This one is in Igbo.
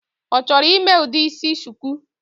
Ọchọrọ ime udi isi shuku?